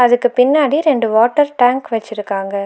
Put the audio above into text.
அதுக்கு பின்னாடி ரெண்டு வாட்டர் டேங்க் வச்சிருக்காங்க.